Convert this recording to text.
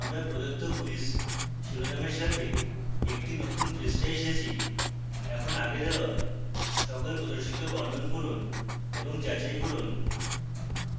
আমরা প্রদত্ত ক্যুইজ শিরোনামের সাথে একটি নতুন পৃষ্ঠায় এসেছি এখানে আগের দেওয়া সকল প্রদর্শিত বর্ণন পড়ুন এবং যাচাই করুন